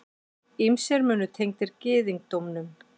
Ýmsir munir tengdir gyðingdómnum.